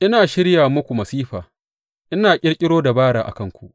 Ina shirya muku masifa ina ƙirƙiro dabara a kanku.